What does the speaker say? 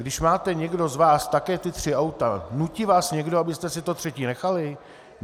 Když máte někdo z vás také ta tři auta, nutí vás někdo, abyste si to třetí nechali?